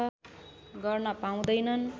गर्न पाउँदैनन्